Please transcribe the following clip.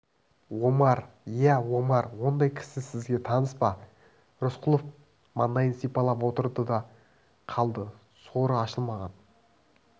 омар иә омар ондай кісі сізге таныс па рысқұлов мандайын сипалап отырды да қалды соры ашылмаған